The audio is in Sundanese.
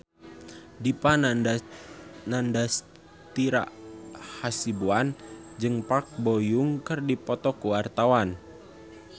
Dipa Nandastyra Hasibuan jeung Park Bo Yung keur dipoto ku wartawan